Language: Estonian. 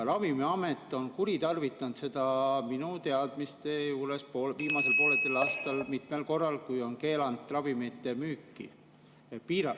Ravimiamet on seda minu teadmiste järgi viimasel poolteisel aastal kuritarvitanud mitmel korral, kui on keelanud ravimite müüki, piiranud …